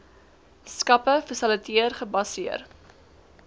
skappe fasiliteer gebaseer